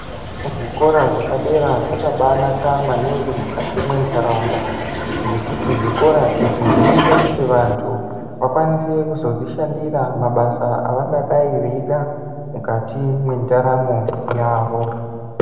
Zvikora zvepadera zvakabanaka maningi mukati mentaraunda ngekuti zvikora izvi zvinoita kuti vantu vakwanise kuzodzishandira mabasa avenge veida mukati mwendaramo yavo.